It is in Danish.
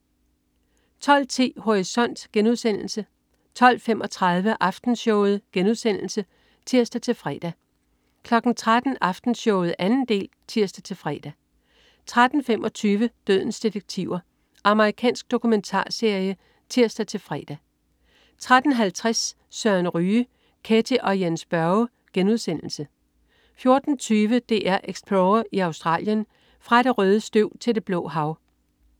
12.10 Horisont* 12.35 Aftenshowet* (tirs-fre) 13.00 Aftenshowet 2. del (tirs-fre) 13.25 Dødens detektiver. Amerikansk dokumentarserie (tirs-fre) 13.50 Søren Ryge. Ketty og Jens Børre* 14.20 DR Explorer i Australien. Fra det røde støv til det blå hav